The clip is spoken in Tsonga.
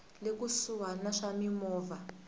le kusuhani ya swa mimovha